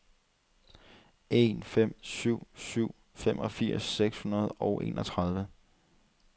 en fem syv syv femogfirs seks hundrede og enogtredive